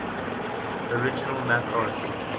original mac os